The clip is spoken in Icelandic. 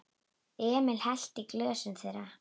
Emil hellti í glösin þeirra.